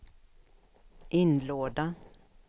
inlåda